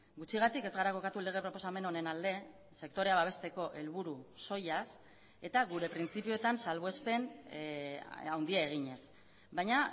gutxigatik ez gara kokatu lege proposamen honen alde sektorea babesteko helburu soilaz eta gure printzipioetan salbuespen handia eginez baina